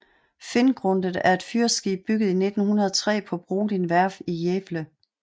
Finngrundet er et fyrskib bygget i 1903 på Brodin Værft i Gävle